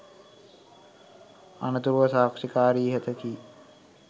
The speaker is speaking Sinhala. අනතුරුව සාක්ෂිකාරිය ඉහත කී